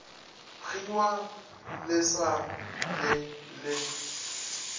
kgiwa le sa le le